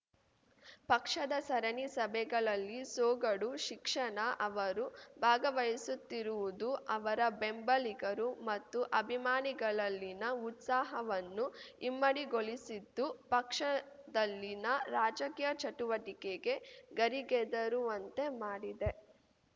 ಪಕ್ಷದ ಸರಣಿ ಸಭೆಗಳಲ್ಲಿ ಸೊಗಡು ಶಿಕ್ಷಣ ಅವರು ಭಾಗವಹಿಸುತ್ತಿರುವುದು ಅವರ ಬೆಂಬಲಿಗರು ಮತ್ತು ಅಭಿಮಾನಿಗಳಲ್ಲಿನ ಉತ್ಸಾಹವನ್ನು ಇಮ್ಮಡಿಗೊಳಿಸಿದ್ದು ಪಕ್ಷದಲ್ಲಿನ ರಾಜಕೀಯ ಚಟುವಟಿಕೆಗೆ ಗರಿಗೆದರುವಂತೆ ಮಾಡಿದೆ